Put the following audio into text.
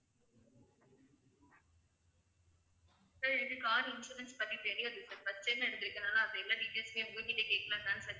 sir எனக்கு car insurance பத்தி தெரியாது sir first time எடுத்திருக்கதுனால அந்த எல்லா details மே உங்ககிட்டையே கேக்கலான்னு தான் sir